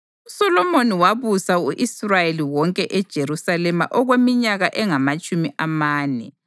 USolomoni wabusa u-Israyeli wonke eJerusalema okweminyaka engamatshumi amane.